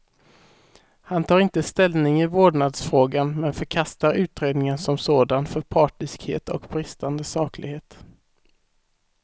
Han tar inte ställning i vårdnadsfrågan, men förkastar utredningen som sådan för partiskhet och bristande saklighet.